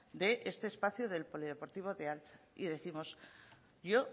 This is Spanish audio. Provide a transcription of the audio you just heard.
de este espacio del polideportivo de altza y décimos yo